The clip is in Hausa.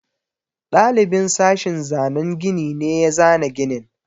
Ɗalibin sashin zanan gini ne ya zana ginin.